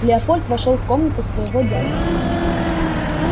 леопольд вошёл в комнату своего дяди